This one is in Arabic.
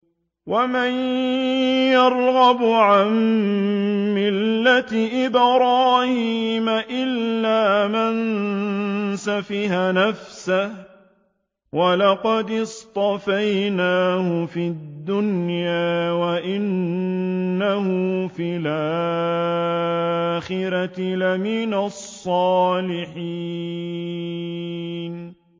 وَمَن يَرْغَبُ عَن مِّلَّةِ إِبْرَاهِيمَ إِلَّا مَن سَفِهَ نَفْسَهُ ۚ وَلَقَدِ اصْطَفَيْنَاهُ فِي الدُّنْيَا ۖ وَإِنَّهُ فِي الْآخِرَةِ لَمِنَ الصَّالِحِينَ